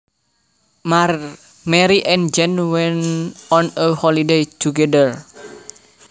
Mary and Jane went on a holiday together